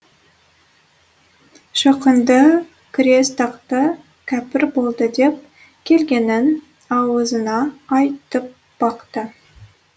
шоқынды кірес тақты кәпір болды деп келгенін ауызына айтып бақты